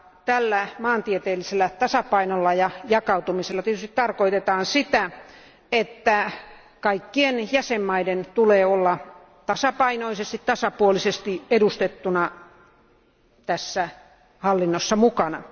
Tällä maantieteellisellä tasapainolla ja jakautumisella tietysti tarkoitetaan sitä, että kaikkien jäsenvaltioiden tulee olla tasapainoisesti ja tasapuolisesti edustettuna tässä hallinnossa mukana.